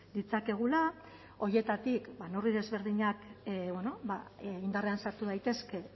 ditzakegula horietatik neurri desberdinak indarrean sartu daitezke